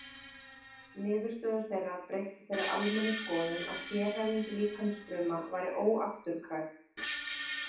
Niðurstöður þeirra breyttu þeirri almennu skoðun að sérhæfing líkamsfruma væri óafturkræf.